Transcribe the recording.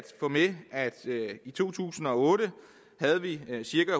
få med at vi i to tusind og otte havde cirka